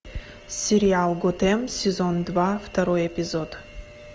сериал готэм сезон два второй эпизод